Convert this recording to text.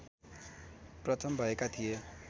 प्रथम भएका थिए